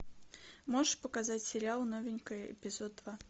можешь показать сериал новенькая эпизод два